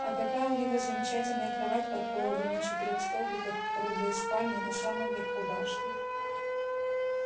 а какая у него замечательная кровать под пологом на четырёх столбиках в круглой спальне на самом верху башни